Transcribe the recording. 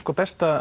besta